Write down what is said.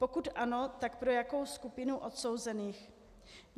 Pokud ano, tak pro jakou skupinu odsouzených.